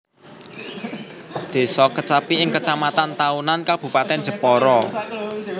Désa Kecapi ing Kecamatan Tahunan Kabupatèn Jepara